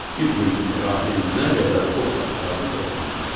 Bir gün İbrahim nə qədər ov axtardı, tapa bilmədi.